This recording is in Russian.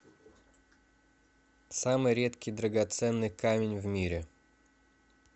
самый редкий драгоценный камень в мире